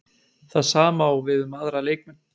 Það sama á við um aðra leikmenn?